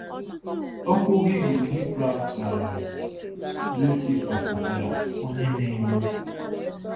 Okwu Hibru Hibru a tụgharịrị “Lucifer” pụtara “onye na-enwu.”